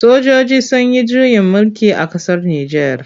Sojoji sun yi juyin mulki a ƙasar Nijar.